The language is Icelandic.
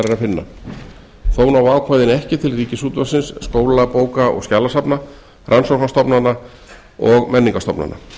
finna þó ná ákvæðin ekki til ríkisútvarpsins skóla bóka og skjalasafna rannsóknarstofnana og menningarstofnana